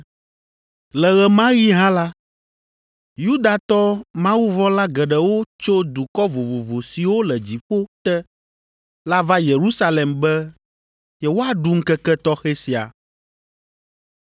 Le ɣe ma ɣi hã la, Yudatɔ mawuvɔ̃la geɖewo tso dukɔ vovovo siwo le dziƒo te la va Yerusalem be yewoaɖu ŋkeke tɔxɛ sia.